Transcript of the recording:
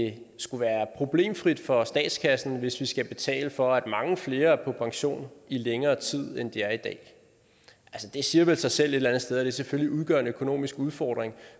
det skulle være problemfrit for statskassen hvis vi skal betale for at mange flere er på pension i længere tid end de er i dag det siger vel sig selv et eller andet sted at det selvfølgelig udgør en økonomisk udfordring